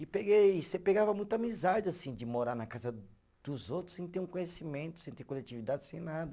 E peguei, você pegava muita amizade assim de morar na casa dos outros sem ter um conhecimento, sem ter coletividade, sem nada.